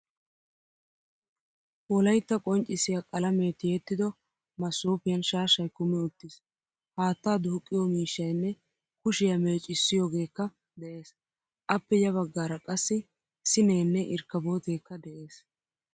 Wolaytta qonccisiyaa qalame tiyettido masoppiyan shaashay kumi uttiis. Haattaa duuqiyo miishshaynne kushiyaa meeccisiyogekka de'ees. Appe ya baggaara qassi siinene irkkabotekka de'ees.